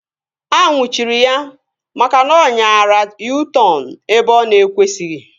A nnwuchiri ya maka na ọ anyara U-tọn ebe ọ na-ekwesịghị